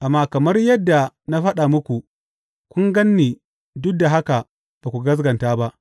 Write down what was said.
Amma kamar yadda na faɗa muku, kun gan ni duk da haka ba ku gaskata ba.